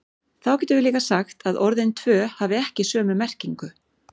Því getum við líka sagt að orðin tvö hafi ekki sömu merkingu.